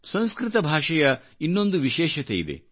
ಸಂಸ್ಕೃತ ಭಾಷೆಯ ಇನ್ನೊಂದು ವಿಶೇಷತೆಯಿದೆ